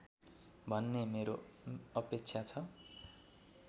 भन्ने मेरो अपेक्षा छ